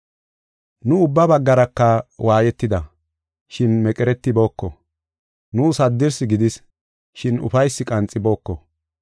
Nu ubba baggaraka waayetida, shin meqeretibooko. Nuus haddirsi gidis, shin ufaysi qanxibooko.